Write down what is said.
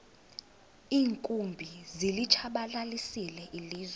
iinkumbi zilitshabalalisile ilizwe